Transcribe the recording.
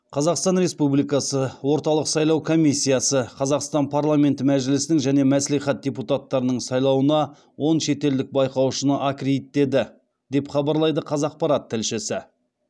қазақстан республикасы орталық сайлау комиссиясы қазақстан парламенті мәжілісінің және мәслихат депутаттарының сайлауына он шетелдік байқаушыны аккредиттеді деп хабарлайды қазақпарат тілшісі